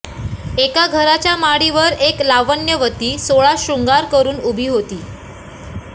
एका घराच्या माडीवर एक लावण्यवती सोळा शृंगार करुन उभी होती